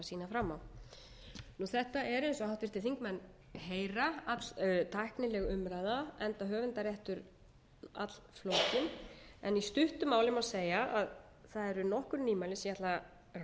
fram á þetta er eins og háttvirtir þingmenn heyra alltæknileg umræða enda höfundaréttur allflókinn en í stuttu máli má segja að það eru nokkur nýmæli sem ég ætla að renna mjög